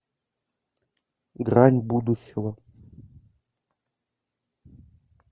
грань будущего